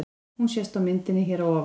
Hún sést á myndinni hér að ofan.